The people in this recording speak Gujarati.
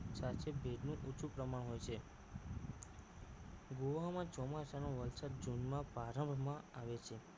સાથે ભેજનું ઓછું પ્રમાણ હોય છે ગોવામાં ચોમાસા નો વરસાદ જૂનમાં પારાવાર માં આવે છે